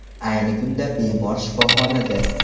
Ayni kunda bemor shifoxonada.